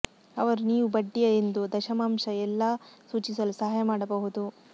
ಅವರು ನೀವು ಬಡ್ಡಿಯ ಎಂದು ದಶಮಾಂಶ ಎಲ್ಲಾ ಸೂಚಿಸಲು ಸಹಾಯ ಮಾಡಬಹುದು